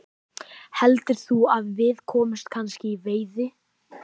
Heldurðu að við komumst kannski í veiði?